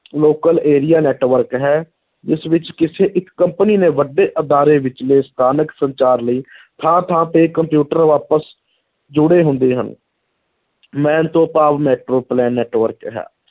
Local area network ਹੈ, ਇਸ ਵਿੱਚ ਕਿਸੇ ਇੱਕ company ਨੇ ਵੱਡੇ ਅਦਾਰੇ ਵਿਚਲੇ ਸਥਾਨਕ ਸੰਚਾਰ ਲਈ ਥਾਂ-ਥਾਂ ਤੇ ਕੰਪਿਊਟਰ ਆਪਸ ਜੁੜੇ ਹੁੰਦੇ ਹਨ MAN ਤੋਂ ਭਾਵ network ਹੈ,